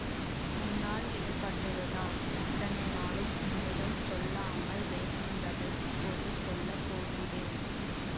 உன்னால் ஏற்பட்டதுதான் இத்தனை நாளும் உன்னிடம் சொல்லாமல் வைத்திருந்ததை இப்போது சொல்ல போகிறேன்